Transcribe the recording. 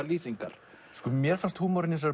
lýsingar mér fannst húmorinn í þessari